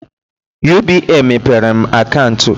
UBA mepere m akantu